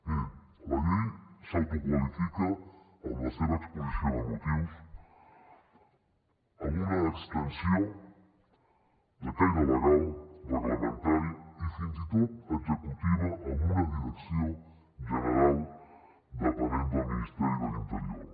mirin la llei s’autoqualifica en la seva exposició de motius amb una extensió de caire legal reglamentari i fins i tot executiva amb una direcció general depenent del ministeri de l’interior